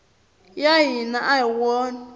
ya hina a hi wona